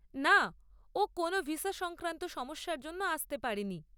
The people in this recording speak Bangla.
না, ও কোনও ভিসা সংক্রান্ত সমস্যার জন্য আসতে পারেনি।